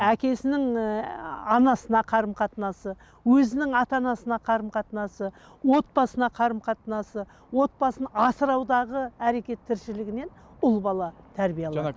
әкесінің анасына қарым қатынасы өзінің ата анасына қарым қатынасы отбасына қарым қатынасы отбасын асыраудағы әрекет тіршілігінен ұл бала тәрбие